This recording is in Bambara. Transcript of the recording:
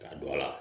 Ka don a la